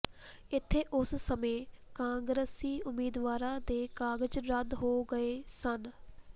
ਇਥੇ ਉਸ ਸਮੇਂ ਕਾਂਗਰਸੀ ਉਮੀਦਵਾਰਾਂ ਦੇ ਕਾਗਜ਼ ਰੱਦ ਹੋ ਗਏ ਸਨ